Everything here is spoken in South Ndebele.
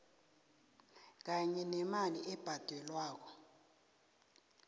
kanye nemali ebhadelwako